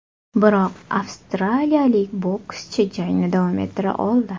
Biroq, avstraliyalik bokschi jangni davom ettira oldi.